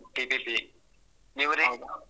TPC ನೀವ್ ರೀ?